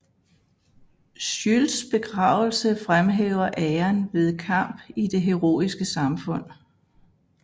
Scylds begravelse fremhæver æren ved kamp i det heroiske samfund